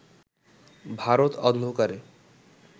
ভারত অন্ধকারে